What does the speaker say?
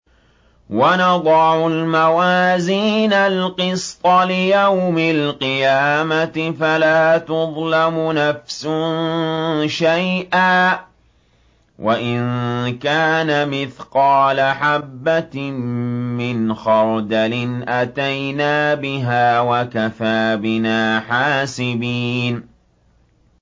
وَنَضَعُ الْمَوَازِينَ الْقِسْطَ لِيَوْمِ الْقِيَامَةِ فَلَا تُظْلَمُ نَفْسٌ شَيْئًا ۖ وَإِن كَانَ مِثْقَالَ حَبَّةٍ مِّنْ خَرْدَلٍ أَتَيْنَا بِهَا ۗ وَكَفَىٰ بِنَا حَاسِبِينَ